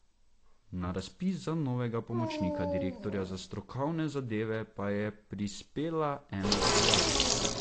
Na razpis za novega pomočnika direktorja za strokovne zadeve pa je prispela ena prijava.